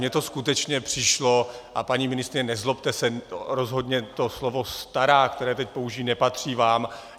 Mně to skutečně přišlo - a paní ministryně, nezlobte se, rozhodně to slovo stará, která teď použiji, nepatří vám.